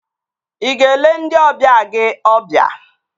Ị ga-ele ndị ọbịa gị ọbịa?